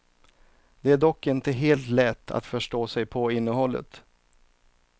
Det är dock inte helt lätt att förstå sig på innehållet.